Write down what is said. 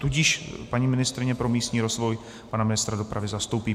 Tudíž paní ministryně pro místní rozvoj pana ministra dopravy zastoupí.